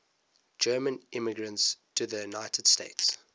german immigrants to the united states